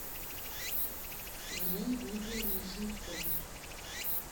елене дмитриевне шумской